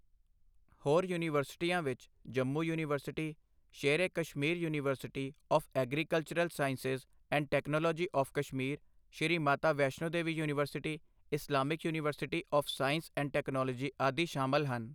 ਹੋਰ ਯੂਨੀਵਰਸਿਟੀਆਂ ਵਿੱਚ Jammu university, Sher e Kashmir university of agricultural sciences and technology of Kashmir, Shri Mata Vaishno Devi university, Islamic university of science and technology ਆਦਿ ਸ਼ਾਮਲ ਹਨ।